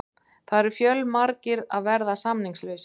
Það eru fjölmargir að verða samningslausir.